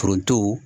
Foronto